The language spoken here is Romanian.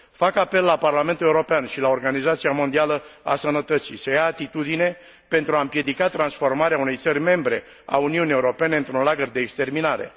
Fac apel la Parlamentul European și la Organizația Mondială a Sănătății să ia atitudine, pentru a împiedeca transformarea unei țări membre a Uniunii Europene într un lagăr de exterminare.